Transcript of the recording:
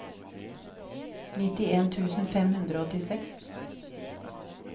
nittien tusen fem hundre og åttiseks